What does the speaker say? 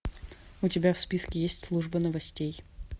у тебя в списке есть служба новостей